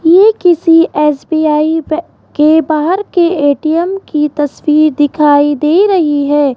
ये किसी एस_बी_आई बे के बाहर के ए_टी_एम की तस्वीर दिखाई दे रही है।